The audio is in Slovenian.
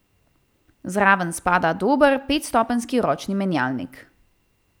Zraven spada dober petstopenjski ročni menjalnik.